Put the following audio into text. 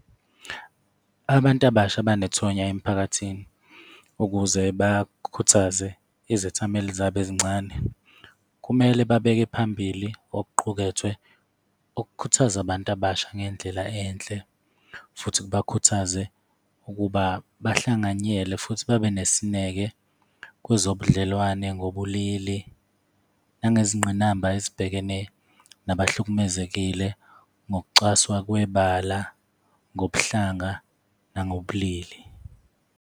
Abantu abasha abanethonya emphakathini, ukuze bakhuthaze izethameli zabo ezincane kumele babeke phambili okuqukethwe, okukhuthaza abantu abasha ngendlela enhle futhi kubakhuthaze ukuba bahlanganyele. Futhi babe nesineke kwezobudlelwane ngobulili nangezingqinanamba ezibhekene nabahlukumezekile ngokucwaswa kwebala, ngobuhlanga, nangobulili.